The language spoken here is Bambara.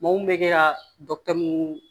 Maa mun bɛ kɛ ka dɔkɔtɔrɔ mun